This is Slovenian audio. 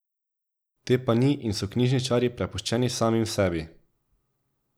Te pa ni in so knjižničarji prepuščeni samim sebi.